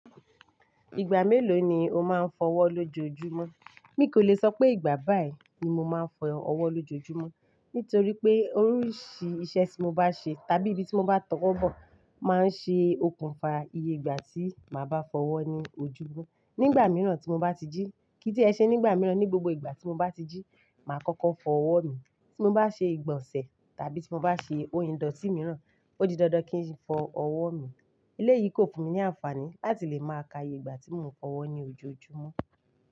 Ìgbà mélòó ni o máa ń fọ́ ọwọ́ lójojúmọ́? Mi kò lè sọ pé ìgbà báyìí ni mo máa ń fọ ọwọ́ lójojúmọ́. Nítorí pé oríṣi iṣẹ́ tí mo bá ṣe tàbí ibi tí mo bá tọ́wọ́ bọ̀ máa ń ṣe okùnfà iye ìgbà tí màá bá fọ́ ọwọ́ ní ojojúmọ́. Ní ìgbà mìíràn tí mo bá ti jí, kí n tí ẹ ṣe ní ìgbà mìíràn ní gbogbo ìgbà tí mo bá ti jí, màá kọ́kọ́ fọ́ ọwọ́ mi. Tí mo bá ṣe ìgbọ̀nsẹ̀ tàbí tí mo bá ṣe oyin dòtí mìíràn, ó di dandan kí n fọ ọwọ́ mi. Eléyìí kò fún mi ní àǹfààní láti lè máa ka iye ìgbà tí mò ń fọwọ́ ní ojoojúmọ́